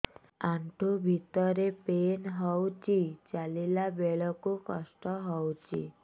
ଆଣ୍ଠୁ ଭିତରେ ପେନ୍ ହଉଚି ଚାଲିଲା ବେଳକୁ କଷ୍ଟ ହଉଚି